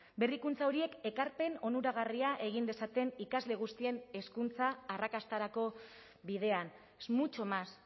berrikuntza horiek ekarpen onuragarria egin dezaten ikasle guztien hezkuntza arrakastarako bidean es mucho más